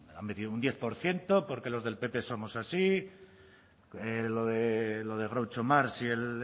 ha metido un diez porque los del pp somos así lo de groucho marx y el